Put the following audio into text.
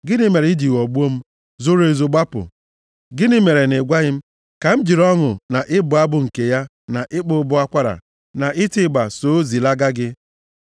Gịnị mere i ji ghọgbuo m, zoro ezo gbapụ? Gịnị mere ị gwaghị m ka m jiri ọṅụ na ịbụ abụ nke ya na ịkpọ ụbọ akwara na iti ịgba so, zilaga gị?